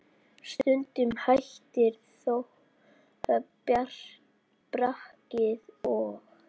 Stundum hættir þó brakið og